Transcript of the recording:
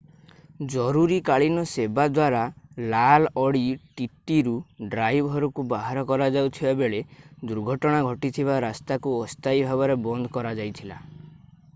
ଜରୁରୀକାଳୀନ ସେବା ଦ୍ୱାରା ଲାଲ୍ ଅଡି ttରୁ ଡ୍ରାଇଭରକୁ ବାହାର କରାଯାଉଥିବା ବେଳେ ଦୁର୍ଘଟଣା ଘଟିଥିବା ରାସ୍ତାକୁ ଅସ୍ଥାୟୀ ଭାବରେ ବନ୍ଦ କରାଯାଇଥିଲା।